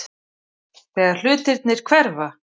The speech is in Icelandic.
Þegar hlutirnir hverfa